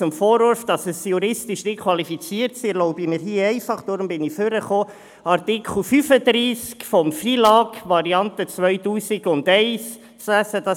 Zum Vorwurf, dass dies juristisch nicht qualifiziert sei, erlaube ich mir einfach – deswegen bin ich nach vorne gekommen – Artikel 35 FILAG, Variante 2001, vorzulesen.